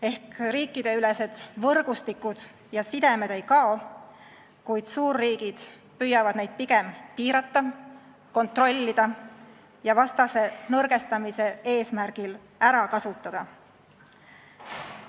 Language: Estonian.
Ehk riikideülesed võrgustikud ja sidemed ei kao, kuid suurriigid püüavad neid pigem piirata, kontrollida ja vastase nõrgestamise eesmärgil ära kasutada.